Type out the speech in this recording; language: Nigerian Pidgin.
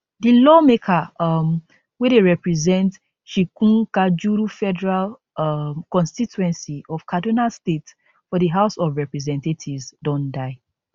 di lawmaker um wey dey represent chikunkajuru federal um constituency of kaduna state for di house of representatives don die